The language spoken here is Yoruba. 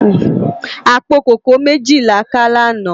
Apó kókòó méji lá ká làná